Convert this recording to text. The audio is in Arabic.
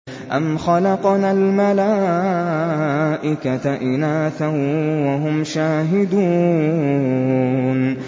أَمْ خَلَقْنَا الْمَلَائِكَةَ إِنَاثًا وَهُمْ شَاهِدُونَ